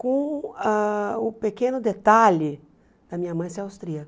Com ah o pequeno detalhe da minha mãe ser austríaca.